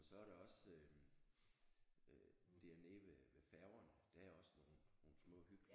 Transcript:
Og så er der også øh øh dernede ved ved færgerne der er også nogle nogle små hyggelige